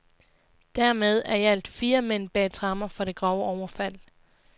Dermed er i alt fire mænd bag tremmer for det grove overfald.